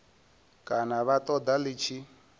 kana vha ṱoḓa ḽi tshi